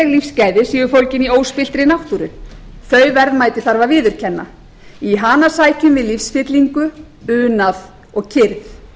lífsgæði séu fólgin í óspilltri náttúru þau verðmæti þarf að viðurkenna í hana sækjum við lífsfyllingu unað og kyrrð